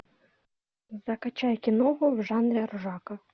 закачай киноху в жанре ржака